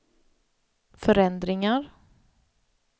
förändringar